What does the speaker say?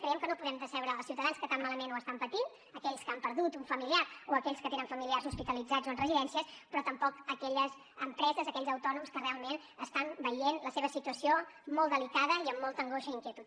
creiem que no podem decebre els ciutadans que tan malament ho estan patint aquells que han perdut un familiar o aquells que tenen familiars hospitalitzats o en residències però tampoc aquelles empreses aquells autònoms que realment estan veient la seva situació molt delicada i amb molta angoixa i inquietud